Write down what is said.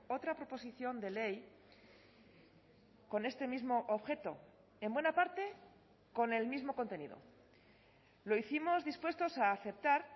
otra proposición de ley con este mismo objeto en buena parte con el mismo contenido lo hicimos dispuestos a aceptar